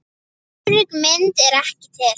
Örugg mynd er ekki til.